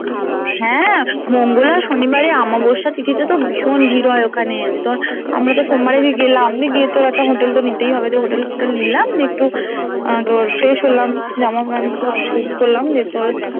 হ্যাঁ মঙ্গল আর শনিবারে অমাবশ্যা তিথিতে তো ভীষণ ভিড় হয় ওখানে যে তোর আমরা তো সোমবার তেই গেলাম দিয়ে গিয়ে তোর একটা hotel তো নিতেই হবে দিয়ে hotel টা নিলাম দিয়ে একটু আহ তোর fresh হলাম জামা pant সব change করলাম নিয়ে তোর